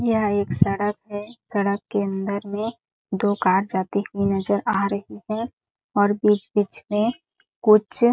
यह एक सड़क हैं सड़क के अंदर में दो कार जाती हुई नज़र आ रही है और बीच-बीच में कुछ--